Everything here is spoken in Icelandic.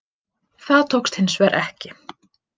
Það tókst hins vegar ekki